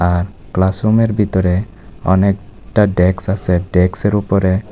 আর class রুমের ভিতরে অনেকটা ডেস্ক আছে ডেস্কের উপরে--